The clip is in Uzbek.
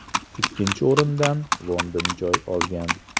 Ikkinchi o‘rindan London joy olgan.